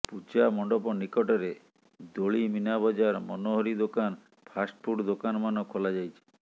ପୂଜାମଣ୍ଡପ ନିକଟରେ ଦୋଳି ମୀନାବଜାର ମନୋହରି ଦୋକାନ ଫାଷ୍ଟଫୁଡ ଦୋକାନମାନ ଖୋଲାଯାଇଛି